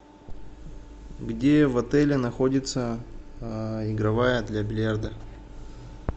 где в отеле находится игровая для бильярда